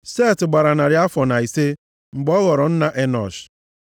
Set gbara narị afọ na ise mgbe ọ ghọrọ nna Enọsh,